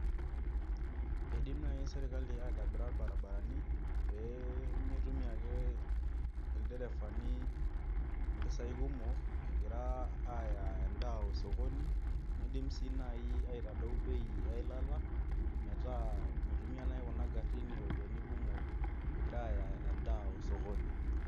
Eidim nai serkali aitobira irbaribarani pee mitumia ake ilderefani impisai kumok egira aaya endaa osokoni niidim sii nai aitodou bei eilata metaa mitumia nai kuna garin iropiani kumok egira aaya endaa osokoni.